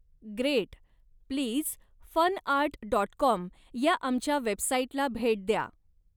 Great! Please FunArt dot com या आमच्या वेबसाईटला भेट द्या.